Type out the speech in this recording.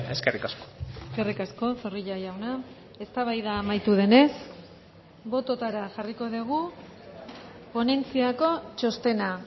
eskerrik asko eskerrik asko zorrilla jauna eztabaida amaitu denez bototara jarriko dugu ponentziako txostena